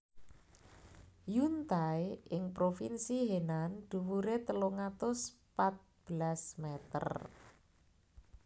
Yuntai ing Provinsi Henan dhuwuré telung atus pat belas mèter